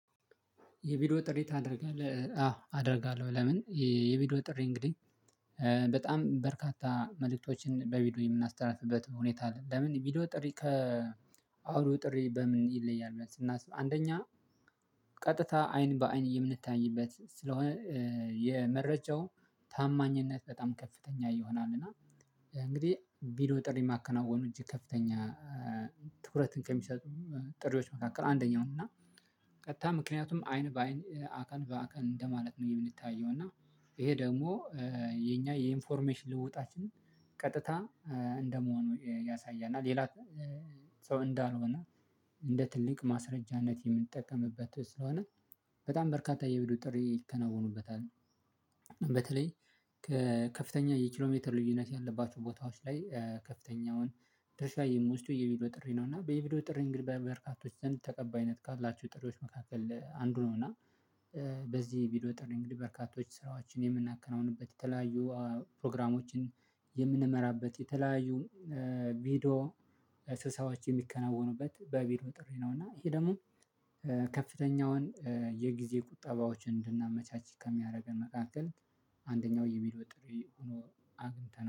የቪዲዮ ጥሪ ታደርጋለህ አዎ አደርጋለሁ። ለምን? የቪዲዮ ጥሪ እንግዲህ በጣም በርካታ መልእክቶችን በቪዲዮ የምናስተላልፍበት ሁኔታ ለምን? ቪዲዮ ጥሪ ከ አውዶኦ ጥሪ በምን ይለያል? ብለን ስናስብ አንደኛ ቀጥታ አይን በአይን የምንታይበት ስለሆነ የመረጃው ታማኝነት በጣም ከፍተኛ ይሆናል። እና እንግዲህ ቪዲኦ ጥሪ የማከናወኑ እጅ ከፍተኛ ትኩረትን ከሚሰጡ ጥሪዎች መካከል አንደኛው ነው። እና ቀጥታ ምክንያቱም አይን በአይን አካል በአካል እንደማለት ነው የምንታየው እና ይሄ ደግሞ የኛ የኢንፎርሜሽን ልውጣችን ቀጥታ እንደመሆኑ ያሳያል እና ሌላ ሰው እንዳልሆነ እንደ ትልቅ ማስረጃነት የምንጠቀምበት ስለሆነ በጣም በርካታ የቪዲኦዶ ጥሪ ይከናወኑበታል። በተለይ ከከፍተኛ የኪሎ ሜትር ልዩነት ያለባችሁ ቦታዎች ላይ ከፍተኛውን ድርሻ የምወስደው የቪዲዮ ጥሪ ነው። እና በየቪዲዮ ጥሪ እንግዲህ በበርካቶች ዘንድ ተቀባይነት ካላችሁ ጥሪዎች መካከል አንዱ ነው። እና በዚህ ቢዲዮ ጥሪ እንግዲህ በርካቶች ስራዎችን የምናከናውንበት የተለያዩ ፕሮግራሞችን የምንመራበት የተለያዩ ቪዲዮ ስብሰባዎች የሚከናወኑበት በቪዲዮ ጥሪ ነው። እና ይሄ ደግሞ ከፍተኛውን የጊዜ ቁጠባዎችን እንድናመቻች ከሚያደርገን መካከል አንደኛው የቪዲኦ ጥሪ ሆኖ አግኝተናል